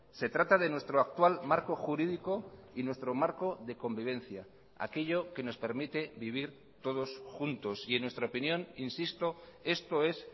se trata de nuestro actual marco jurídico y nuestro marco de convivencia aquello que nos permite vivir todos juntos y en nuestra opinión insisto esto es